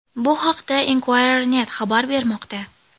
Bu haqda Inquirer.net xabar bermoqda .